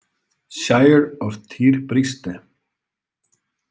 Shire of Tir Briste.